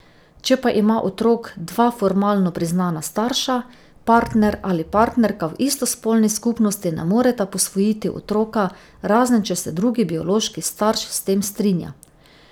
Če pa ima otrok dva formalno priznana starša, partner ali partnerka v istospolni skupnosti ne moreta posvojiti otroka, razen če se drugi biološki starš s tem strinja.